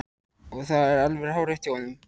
Og það er alveg hárrétt hjá honum.